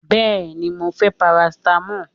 Bẹ́ẹ́ni, mo fẹ́ parasitamọ́ọ̀.